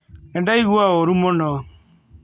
Nĩ ndaigua ũũru mũno.